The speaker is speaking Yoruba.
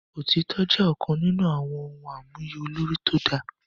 Òtítọ́ jẹ́ ọ̀kan nínú àwọn ohun àmúyẹ olórí tó dáa